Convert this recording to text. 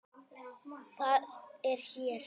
Það er hér.